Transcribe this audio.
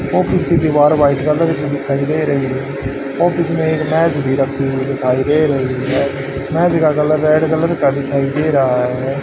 Office की दीवार white colour की दिखाई दे रही है ऑफिस में एक मेज भी रखी हुई दिखाई दे रही है मेज का कलर रेड कलर का दिखाई दे रहा है।